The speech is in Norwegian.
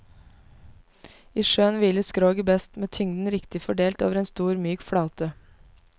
I sjøen hviler skroget best, med tyngden riktig fordelt over en stor myk flate.